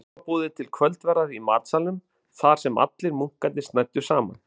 Okkur var boðið til kvöldverðar í matsalnum þarsem allir munkarnir snæddu saman.